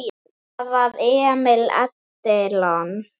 Það var Emil Edilon.